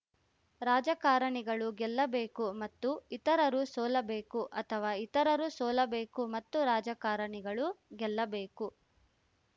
ರಾಜಕಾರಣಿಗಳು ಗೆಲ್ಲಬೇಕು ಮತ್ತು ಇತರರು ಸೋಲಬೇಕು ಅಥವಾ ಇತರರು ಸೋಲಬೇಕು ಮತ್ತು ರಾಜಕಾರಣಿಗಳು ಗೆಲ್ಲಬೇಕು